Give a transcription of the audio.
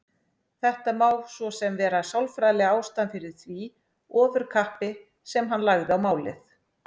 Þetta má svo sem vera sálfræðilega ástæðan fyrir því ofurkappi sem hann lagði á málið.